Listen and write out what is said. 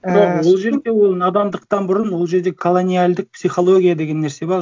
бірақ ол жерде ол надандықтан бұрын ол жерде колониальдік психология деген нәрсе бар